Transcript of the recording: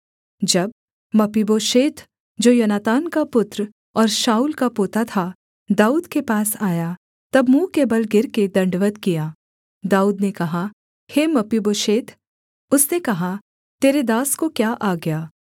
जब मपीबोशेत जो योनातान का पुत्र और शाऊल का पोता था दाऊद के पास आया तब मुँह के बल गिरकर दण्डवत् किया दाऊद ने कहा हे मपीबोशेत उसने कहा तेरे दास को क्या आज्ञा